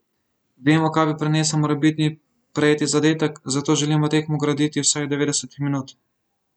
Vemo, kaj bi prinesel morebitni prejeti zadetek, zato želimo tekmo graditi vseh devetdeset minut.